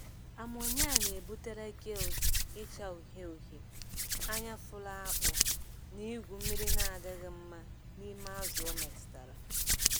Amonia na-ebutere gills ịcha uhie uhie, anya fụrụ akpụ, na igwu mmiri na-adịghị mma n'ime azụ o metụtara.